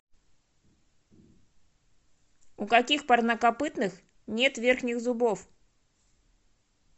у каких парнокопытных нет верхних зубов